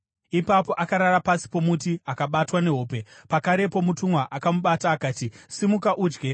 Ipapo akarara pasi pomuti akabatwa nehope. Pakarepo mutumwa akamubata akati, “Simuka udye.”